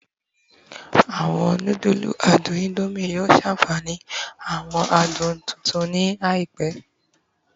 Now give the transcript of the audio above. Awọn nudulu adun Indomie yoo ṣafihan awọn adun tuntun ni àìpẹ